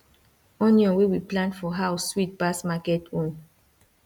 onion wey we plant for house sweet pass market own